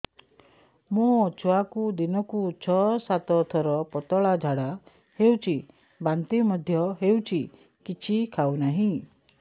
ମୋ ଛୁଆକୁ ଦିନକୁ ଛ ସାତ ଥର ପତଳା ଝାଡ଼ା ହେଉଛି ବାନ୍ତି ମଧ୍ୟ ହେଉଛି କିଛି ଖାଉ ନାହିଁ